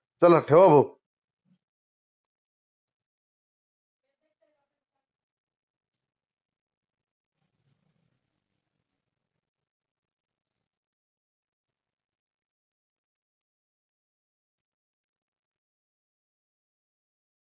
चला ठेवा भाऊ